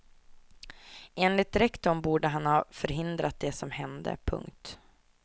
Enligt rektorn borde han ha förhindrat det som hände. punkt